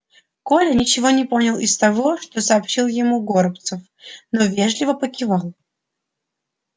коля ничего не понял из того что сообщил ему горобцов но вежливо покивал